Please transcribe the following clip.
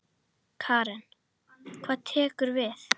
Karen: Hvað tekur við?